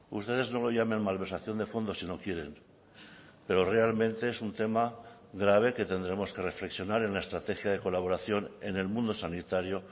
ustedes no lo llamen malversación de fondos si no quieren pero realmente es un tema grave que tendremos que reflexionar en la estrategia de colaboración en el mundo sanitario